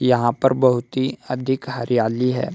यहां पर बहुत ही अधिक हरियाली है।